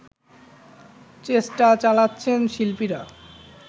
চেষ্টা চালাচ্ছেন শিল্পীরা